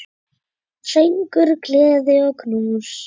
Söngur, gleði og knús.